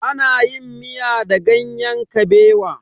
Ana yin miya da ganyen kabewa.